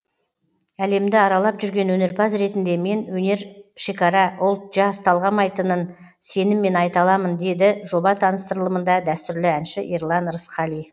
әлемді аралап жүрген өнерпаз ретінде мен өнер шекара ұлт жас талғамайтынын сеніммен айта аламын деді жоба таныстырылымында дәстүрлі әнші ерлан рысқали